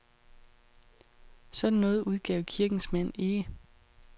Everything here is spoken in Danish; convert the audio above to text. Sådan noget udgav kirkens mand ikke.